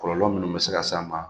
Kɔlɔlɔ minnu bɛ se ka s'an ma